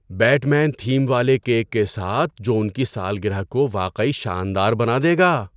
Bat مین theme والے cake کے ساتھ جو ان کی سالگرہ کو واقعی شاندار بنا دے گا!